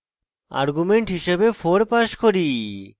argument হিসাবে 4 pass করি